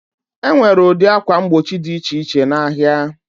Enwere ụdị ákwà mgbochi dị iche iche na ahịa.